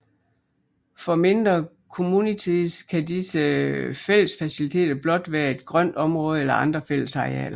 For mindre communities kan disse fællesfaciliteter blot være et grønt område eller andre fællesarealer